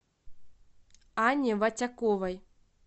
анне вотяковой